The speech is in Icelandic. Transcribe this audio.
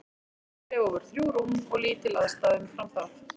Í þessum klefa voru þrjú rúm og lítil aðstaða umfram það.